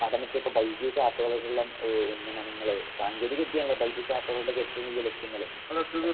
പഠനത്തെ ഇപ്പൊ വൈദ്യത ശാസ്ത്രതയോടുള്ള ഏഹ് ഉന്നമനങ്ങള് സാങ്കേതിക വിദ്യാണല്ലോ വൈദ്യത ശാസ്ത്രങ്ങളുടെ ഏറ്റവും വലിയ ലക്ഷ്യങ്ങള്‌.